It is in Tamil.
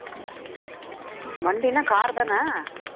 வண்டின்னா car தானே